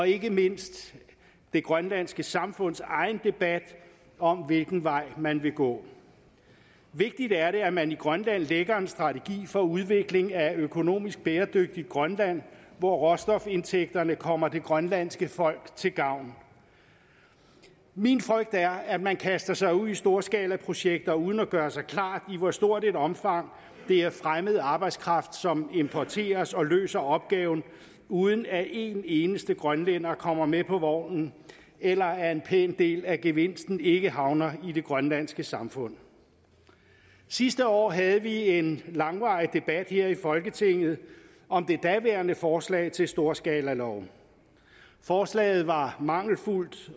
ikke mindst det grønlandske samfunds egen debat om hvilken vej man vil gå vigtigt er det at man i grønland lægger en strategi for udvikling af et økonomisk bæredygtigt grønland hvor råstofindtægterne kommer det grønlandske folk til gavn min frygt er at man kaster sig ud i storskalaprojekter uden at gøre sig klart i hvor stort et omfang det er fremmed arbejdskraft som importeres og løser opgaven uden at en eneste grønlænder kommer med på vognen eller at en pæn del af gevinsten ikke havner i det grønlandske samfund sidste år havde vi en langvarig debat her i folketinget om det daværende forslag til storskalaloven forslaget var mangelfuldt